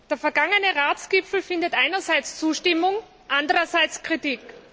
Der vergangene Ratsgipfel findet einerseits Zustimmung, andererseits Kritik.